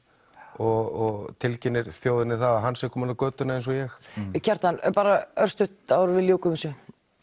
og tilkynnir þjóðinni það að hann sé kominn á götuna eins og ég Kjartan bara örstutt áður en við ljúkum þessu